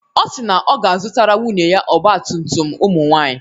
Ọ si na ọ ga-azụtara nwunye ya ọgba tum tum nke ụmụ nwaanyị.